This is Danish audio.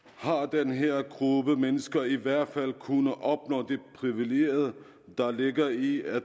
har den her gruppe mennesker i hvert fald kunnet opnå de privilegier der ligger i at